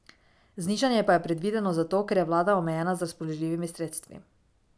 Znižanje pa je predvideno zato, ker je vlada omejena z razpoložljivimi sredstvi.